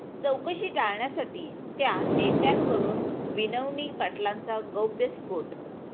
चौकशी टाळण्यासाठी 'त्या' नेत्यांकडून विनवणी, पाटलांचा गौप्यस्फोट